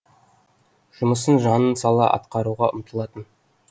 жұмысын жанын сала атқаруға ұмтылатын